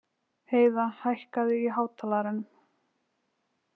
Heiða, hækkaðu í hátalaranum.